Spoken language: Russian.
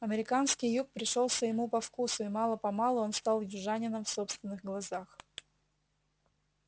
американский юг пришёлся ему по вкусу и мало-помалу он стал южанином в собственных глазах